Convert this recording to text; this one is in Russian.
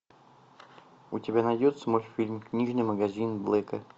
у тебя найдется мультфильм книжный магазин блэка